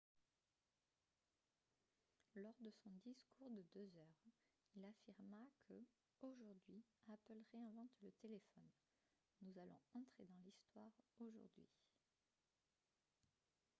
lors de son discours de deux heures il affirma que « aujourd'hui apple réinvente le téléphone ; nous allons entrer dans l'histoire aujourd'hui. »